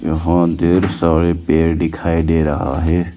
यहां ढ़ेर सारे पेड़ दिखाई दे रहा है।